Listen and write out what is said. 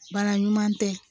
Baara ɲuman tɛ